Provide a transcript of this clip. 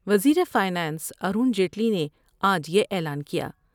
وز یر فائنانس ارون جیٹلی نے آج یا اعلان کیا ۔